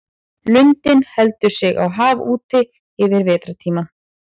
Lundinn heldur sig á hafi úti yfir vetrartímann.